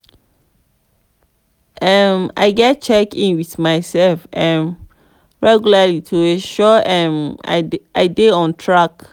um i gats check in with myself um regularly to ensure um i dey on track.